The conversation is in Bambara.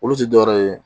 Olu ti dɔwɛrɛ ye